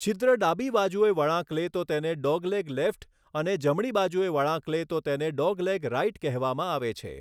છિદ્ર ડાબી બાજુએ વળાંક લે તો તેને 'ડોગલેગ લેફ્ટ' અને જમણી બાજુએ વળાંક લે તો તેને 'ડોગલેગ રાઈટ' કહેવામાં આવે છે.